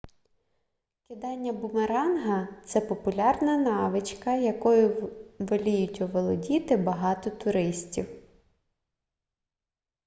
кидання бумеранга це популярна навичка якою воліють оволодіти багато туристів